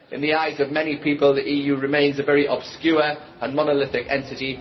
In the eyes of many people, the EU remains a very obscure and monolithic entity.